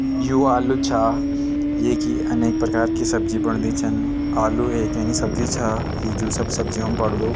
यु आलू छा येकी अनेक प्रकार की सब्जी बणदी छन आलू एक यनी सब्जी छा जू सब सब्जी म पड़दु।